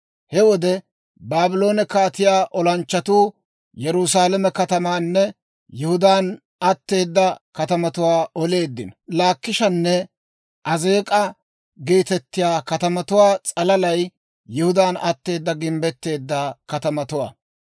He wode Baabloone kaatiyaa olanchchatuu Yerusaalame katamaanne Yihudaan atteeda katamatuwaa oleeddino. Laakishanne Azeek'a geetettiyaa katamatuwaa s'alalay Yihudaan atteeda gimbbetteedda katamatuwaa.